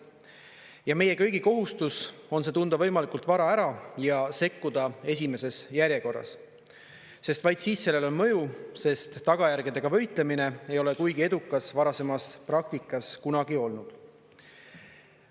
Ja meie kõigi kohustus on see tunda võimalikult vara ära ja sekkuda esimeses järjekorras, sest vaid siis sellel on mõju, sest tagajärgedega võitlemine ei ole kuigi edukas varasemas praktikas kunagi olnud.